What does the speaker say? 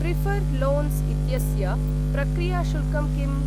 Prefer loans इत्यस्य्य प्रक्रियाशुल्कं किम्?